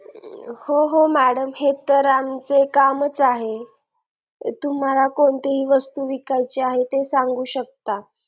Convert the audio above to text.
हो हो madam हे तर आमचे कामच आहे तुम्हाला कोणतीही वस्तू विकायची आहे ते सांगू शकता